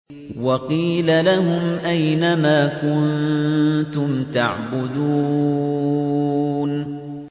وَقِيلَ لَهُمْ أَيْنَ مَا كُنتُمْ تَعْبُدُونَ